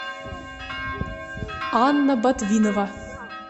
анна ботвинова